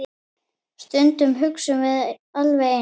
Stundum hugsum við alveg eins.